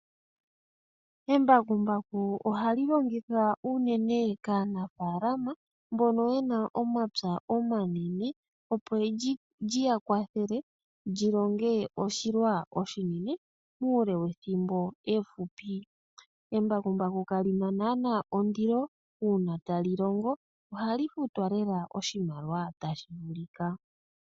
Embakumbaku ohali longithwa unene kaanafaalama mbono yena omapya omanene , opo lyiya kwathele lyilonge oshilwa oshinene muule wethimbo efupi. Embakumbaku kali na naanaa ondilo . Uuna tali longo ohali futwa lela oshimaliwa tashi vulika.